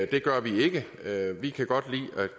det gør vi ikke vi kan godt lide